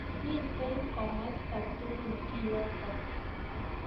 Mitei kumasta tukul kiyotok.